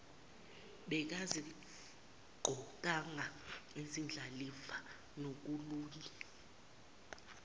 bengaziqokanga izindlalifa kunolunye